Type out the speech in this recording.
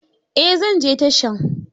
Eh, zan je tashan.